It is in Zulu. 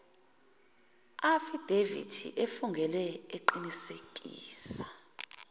afidavithi efungelwe eqinisekisa